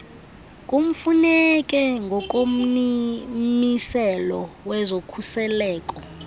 kumfuneke ngokommiselo wezokhuseleko